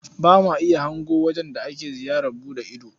Ba ma iya hango wajen da ake ziyarar buɗe ido.